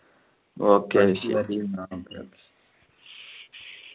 okay